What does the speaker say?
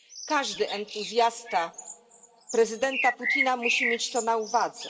Każdy entuzjasta prezydenta Putina musi mieć to na uwadze.